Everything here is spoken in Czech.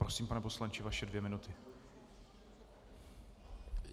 Prosím, pane poslanče, vaše dvě minuty.